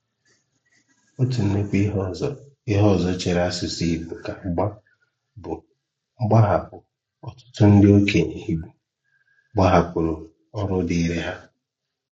Ọ̀tụ̀ ńnukwu íhè ọzọ íhè ọzọ chèèrè asụ̀sụ́ Ìgbò aka mgba bụ́ mgbàhàpụ̀ ọ̀tụ̀tụ̀ ndị òkènyè Ìgbò gbàhàpụ̀rù ọ̀rụ̀ dịrị hà.